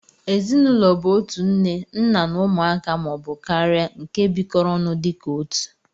Ezinụlọ bu otu nne ,nna na ụmụaka ma ọ bu karia nke bikọrọ ọnụ dika otụ